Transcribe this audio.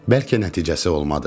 Bəlkə nəticəsi olmadı.